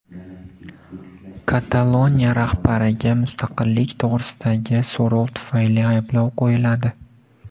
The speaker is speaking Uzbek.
Kataloniya rahbariga mustaqillik to‘g‘risidagi so‘rov tufayli ayblov qo‘yiladi.